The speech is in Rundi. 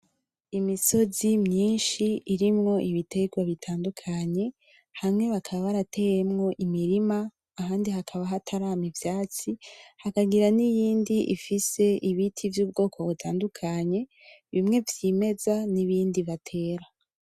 Imisozi myinshi irimwo ibiterwa bitandukanye. Hamwe bakaba barateyemwo imirima, ahandi hakaba hatarama ivyatsi. Hakagira niyindi ifise ibiti vy'ubwoko butandukanye, bimwe vyimeza, n'ibindi batera.